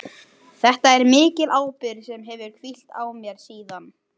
Þetta er mikil ábyrgð sem hefur hvílt á mér síðan.